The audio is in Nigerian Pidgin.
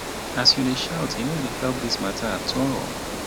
as you dey shout e no dey help dis mata at all.